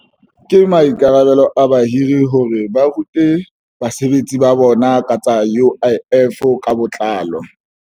Ke maikarabelo a bahiri ho re ba rute basebetsi ba bona ka tsa U_I_F ka botlalo.